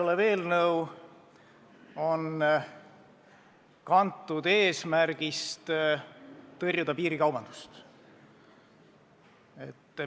See eelnõu on kantud eesmärgist tõrjuda piirikaubandust.